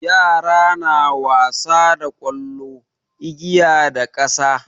Yara na wasa da ƙwallo, igiya da ƙasa.